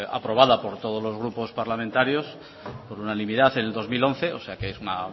aprobada por todos los grupos parlamentarios por unanimidad en el dos mil once o sea que es una